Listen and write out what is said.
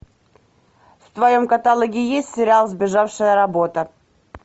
в твоем каталоге есть сериал сбежавшая работа